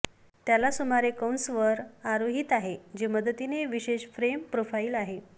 त्याला सुमारे कंस वर आरोहित आहे जे मदतीने विशेष फ्रेम प्रोफाइल आहे